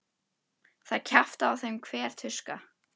Það kjaftaði á þeim hver tuska.